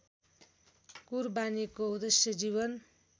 कुरबानीको उद्देश्य जीवन